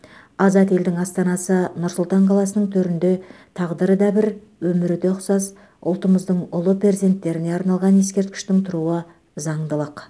азат елдің астанасы нұр сұлтан қаласының төрінде тағдыры да бір өмірі де ұқсас ұлтымыздың ұлы перзенттеріне арналған ескерткіштің тұруы заңдылық